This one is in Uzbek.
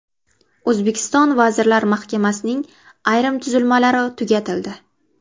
O‘zbekiston Vazirlar Mahkamasining ayrim tuzilmalari tugatildi.